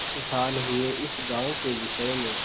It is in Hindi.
आठ साल हुए इस गॉँव के विषय में